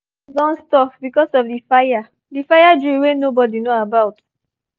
the meeeting don stop because of the fire the fire drill wey nobody know about